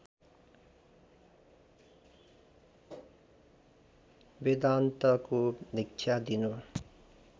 वेदान्तको दीक्षा दिनु